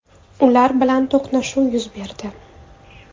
Ular bilan to‘qnashuv yuz berdi.